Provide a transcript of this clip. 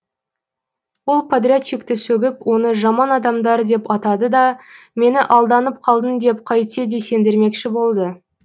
ол подрядчикті сөгіп оны жаман адамдар деп атады да мені алданып қалдың деп қайтсе де сендірмекші болды